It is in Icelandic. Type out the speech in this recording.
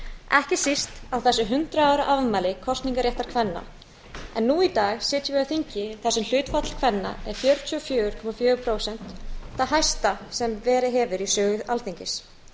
ekki síst á þessu hundrað ára afmæli kosningarréttar kvenna en nú í dag sitjum við á þingi þar sem hlutfall kvenna er fjörutíu og fjögur komma fjögur prósent það hæsta sem verið hefur í sögu alþingis